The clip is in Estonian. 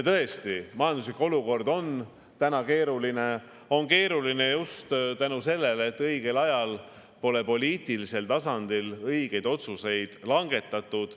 Tõesti, majanduslik olukord on praegu keeruline, see on keeruline just selle tõttu, et õigel ajal pole poliitilisel tasandil õigeid otsuseid langetatud.